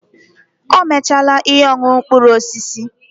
O mechaala ihe ọṅụṅụ mkpụrụ osisi.